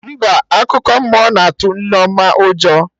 Mba, akụkọ mmụọ na atụ Nneoma ụjọ